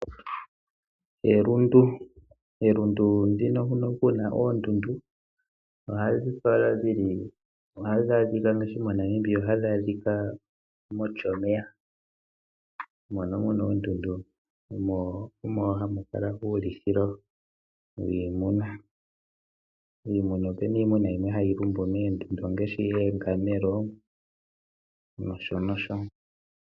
Elundu , elundu ndino huno kuna oondundu ohadhi adhika ngaashi moNamibia ohadhi adhika mOshomeye mono muna oondundu, mo omo hamukala muna uulithilo wiimuna. Iimuna opena iimuna yimwe hayi lumbu mondundu ongaashi oongamelo noshonosho.